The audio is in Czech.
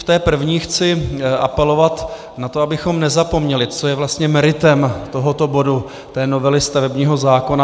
V té první chci apelovat na to, abychom nezapomněli, co je vlastně meritem tohoto bodu, té novely stavebního zákona.